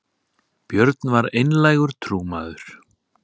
björn var einlægur trúmaður